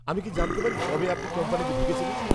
আমি কি জানতে পারি কবে আপনি কোম্পানিতে ঢুকেছিলেন?